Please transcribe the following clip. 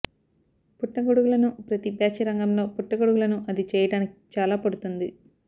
పుట్టగొడుగులను ప్రతి బ్యాచ్ రంగంలో పుట్టగొడుగులను అది చేయడానికి చాలా పడుతుంది